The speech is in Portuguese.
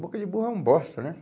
Boca de burro é um bosta, né?